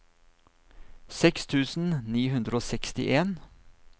seks tusen ni hundre og sekstien